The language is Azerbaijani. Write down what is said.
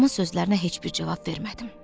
Ustamın sözlərinə heç bir cavab vermədim.